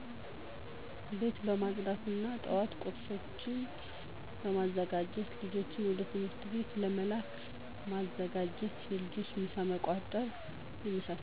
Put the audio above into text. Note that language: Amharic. ቤት በማፅዳት እና የጠዋት ቁርሶችን በማዘጋጀት ልጆችን ወደ ትምህርት ቤት ለመላክ መዘጋጀት የልጆችን ምሳ መቋጠር የመሳሰሉት